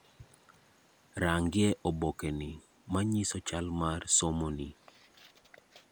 Rangie obokeni, manyiso chal mar somoni.